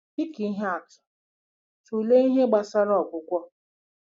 Dị ka ihe atụ, tụlee ihe gbasara ọgwụgwọ.